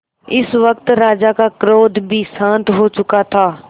इस वक्त राजा का क्रोध भी शांत हो चुका था